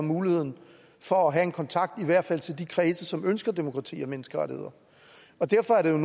muligheden for at have en kontakt i hvert fald til de kredse som ønsker demokrati og menneskerettigheder og derfor